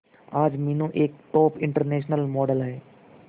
आज मीनू एक top international model है